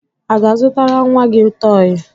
A ga-azụtara nwa gị tọọyị?